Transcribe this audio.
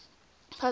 puzzle books